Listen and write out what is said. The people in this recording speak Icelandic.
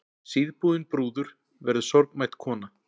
Síðbúin brúður verður sorgmædd kona.